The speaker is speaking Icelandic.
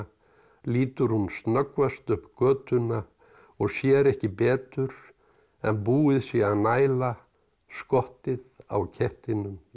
lítur hún snöggvast upp götuna og sér ekki betur en búið sé að næla skottið á kettinum í